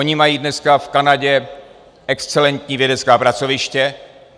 Oni mají dneska v Kanadě excelentní vědecká pracoviště.